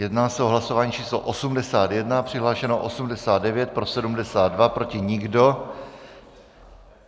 Jedná se o hlasování číslo 81, přihlášeno 89, pro 72, proti nikdo .